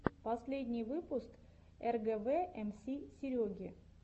последний выпуск эргэвэ эмси сереги